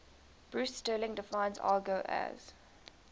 bruce sterling defines argot as